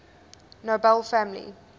nobel family